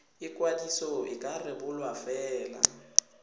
ikwadiso e ka rebolwa fela